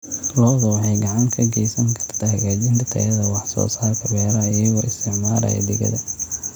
Lo'du waxay gacan ka geysan kartaa hagaajinta tayada wax soo saarka beeraha iyagoo isticmaalaya digada.